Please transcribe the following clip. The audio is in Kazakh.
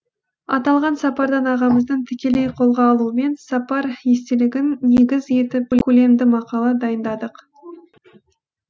аталған сапардан ағамыздың тікелей қолға алуымен сапар естелігін негіз етіп көлемді мақала дайындадық